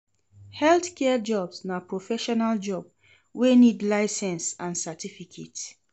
Health care jobs na professional job wey need license and cerificate